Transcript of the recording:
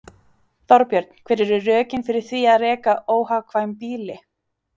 Þorbjörn: Hver eru rökin fyrir því að reka óhagkvæm býli?